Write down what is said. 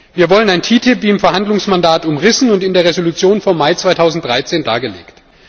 Wir wollen ein TTIP wie im Verhandlungsmandat umrissen und in der Entschließung vom Mai 2013 dargelegt.